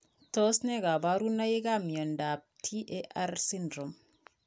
Tos ne kaborunoikap miondop TAR syndrome?